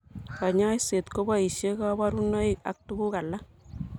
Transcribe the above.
Kanyoiset koboishe kaborunoik ak tukuk alak.